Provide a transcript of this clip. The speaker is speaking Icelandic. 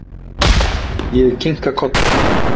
Ég kinka kolli.